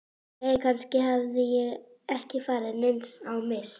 Jæja, kannski hafði ég ekki farið neins á mis.